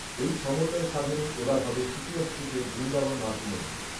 এই সমন্বয় সাধনই এ বার হবে সুকিয়া স্ট্রিটের বৃন্দাবন মাতৃমন্দিরে